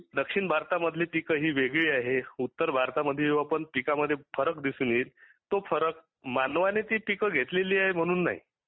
दक्षिण भारतामधील ही वेगळी आहे. उत्तर भारतामध्ये पिकांमध्ये फरक दिसून येईल तो फरक मानवाने पिके घेतलेली म्हणून नाही